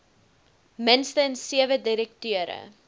minstens sewe direkteure